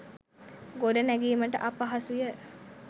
ගොඩනැඟීමට අපහසුය.